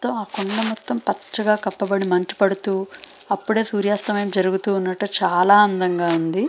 ఆ కొండ మొత్తం పచగా అప్పుడే మంచు పడుతూ అప్పుడే సూర్యాస్తమయం జరుగుతూ వున్నటు చాల అందం గ వుంది.